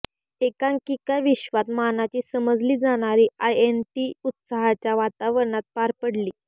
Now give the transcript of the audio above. एकांकिकाविश्वात मानाची समजली जाणारी आयएनटी उत्साहाच्या वातावरणात पार पडली